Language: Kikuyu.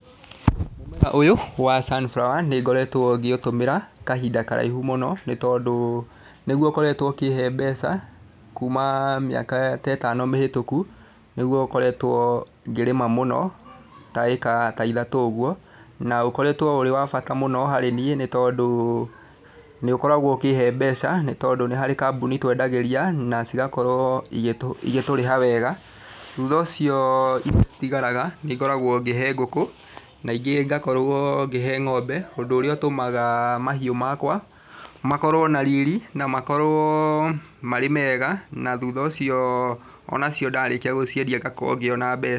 Mũmera ũyũ wa sunflower nĩ ngoretwo ngĩũtũmira kahinda karaihu mũno nĩtondũ nĩguo ũkoretwo ũkĩhe mbeca kũũma mĩaka ta ĩtano mĩhĩtũku nĩguo ũkoretwo ngĩrĩma mũno, ta ĩka ta ithatũ ũguo, na ũkoretwo ũrĩ wa bata mũno harĩ niĩ nĩtondũ nĩũkoragwo ũkĩhe mbeca, nĩtondũ nĩ harĩ kambũni twendagĩria na cĩgakorwo igĩ igĩtũrĩha wega. Thũtha ũcio iria itigaraga nĩngoragwo ngĩhe ngũkũ na ingĩ ngakorwo ngĩhe ng'ombe ũndũ ũrĩa ũtũmaga mahiũ makwa makorwo na riri na makorwo marĩ mega, na thũtha ũcio onacio ndarĩkia gũciendia ngakorwo ngĩona mbe...